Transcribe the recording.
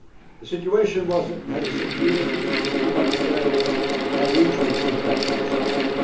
level. The situation has a security, humanitarian and regional impact on the